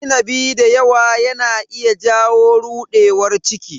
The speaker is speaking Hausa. Cin inabi dayawa yana iya jawo rudewar ciki.